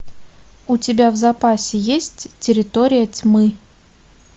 у тебя в запасе есть территория тьмы